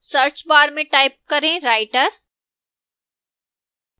search bar में type करें writer